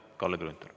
Kalle Grünthal.